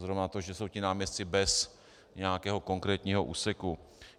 Zrovna to, že jsou ti náměstci bez nějakého konkrétního úseku.